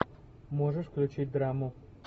можешь включить драму